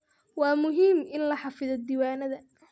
Waa muhiim in la xafido diiwaannada.